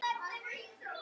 Svo skellti hann upp úr.